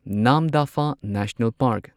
ꯅꯥꯝꯗꯐꯥ national park